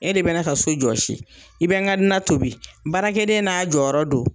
E de be ne ka so jɔsi i be n ka na tobi baarakɛden n'a jɔyɔrɔ do